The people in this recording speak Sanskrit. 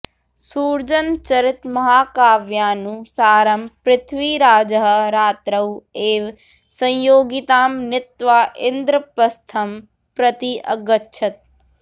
सुर्जनचरितमहाकाव्यानुसारं पृथ्वीराजः रात्रौ एव संयोगितां नीत्वा इन्द्रपस्थं प्रति अगच्छत्